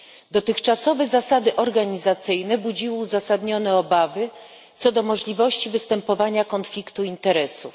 Dotychczasowe zasady organizacyjne budziły uzasadnione obawy co do możliwości występowania konfliktu interesów.